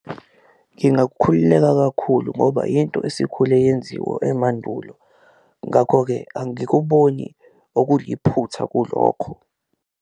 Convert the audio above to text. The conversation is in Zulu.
Ngingakhululeka kakhulu ngoba yinto esikhule yenziwa emandulo ngakho-ke angikuboni okuliphutha kulokho.